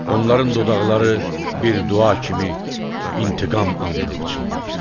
Onların dodaqları bir dua kimi intiqam andını pıçıldayır.